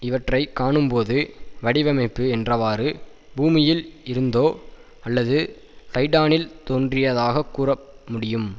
இவற்றை காணும்போது வடிவமைப்பு என்றவாறு பூமியில் இருந்தோ அல்லது டைடானில் தோன்றியதாகக் கூறமுடியும்